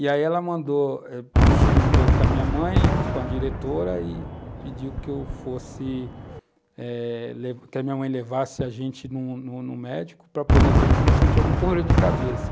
E aí ela mandou, juntou com a minha mãe, com a diretora, e pediu que eu fosse, eh, que a minha mãe levasse a gente no médico para poder ver se eu tinha algum problema de cabeça.